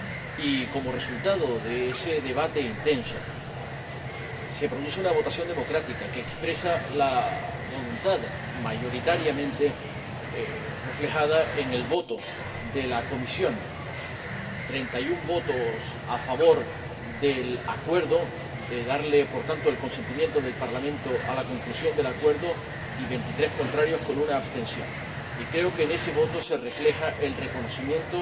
Y, como resultado de ese debate intenso, se produce una votación democrática que expresa la voluntad mayoritariamente reflejada en el voto de la comisión 31 votos a favor del Acuerdo, de dar, por tanto, el consentimiento del Parlamento a la conclusión del Acuerdo, y 23 contrarios, con una abstención. Creo que en ese voto se refleja el reconocimiento